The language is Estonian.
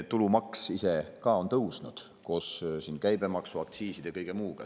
Tulumaks ise ka on tõusnud koos käibemaksu, aktsiiside ja kõige muuga.